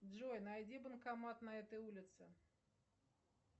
джой найди банкомат на этой улице